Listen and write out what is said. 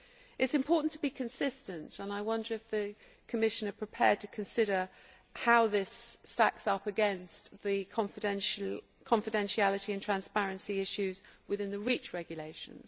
It is important to be consistent, and I wonder whether the Commission is prepared to consider how this stacks up against the confidentiality and transparency issues in the REACH regulations.